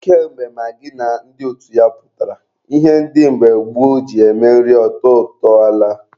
Ka mgbe magị na ndị otu ya pụtara, ihe ndị mgbe gboo ji eme nri ọ tọọ ụtọ alaa.